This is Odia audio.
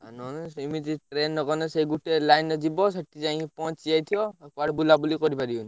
ଆଉ ନହେଲେ ସେମିତି train ରେ ଗଲେ ସେ ଗୁଟେ line ରେ ଜୀବ ସେଠି ଯାଇଁକି ପହଞ୍ଚି ଯାଇଥିବ କୁଆଡେ ବୁଲାବୁଲି କରିପାରିବନି।